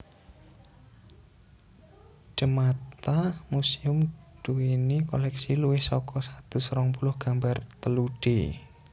De Mata Museum duweni koleksi luwih saka satus rong puluh gambar telu D